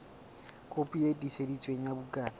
kopi e tiiseditsweng ya bukana